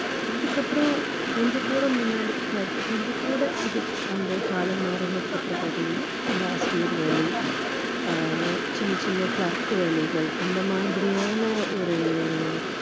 கொஞ்சம் கூட முன்னாடி கொஞ்சம் கூட இது வந்து காலம் மாறினதுக்கு அப்புறம் பார்த்தீங்கன்னா இந்த ஆசிரியர் வேலை ஆஹ் சின்ன சின்ன clerk வேலைகள் அந்த மாதிரியான ஒரு வேலைகளை வந்து பெண்கள்